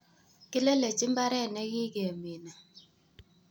"Kilelechi mbaret nekikemine.